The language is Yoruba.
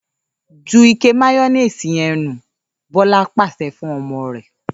‘Ju ike máyó̩néèsì ye̩n nù!’, Bó̩la pàs̩e̩ fún o̩mo̩ rè̩